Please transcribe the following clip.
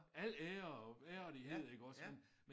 Al ære og værdighed iggås men